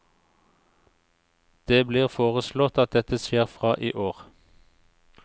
Det blir foreslått at dette skjer frå i år.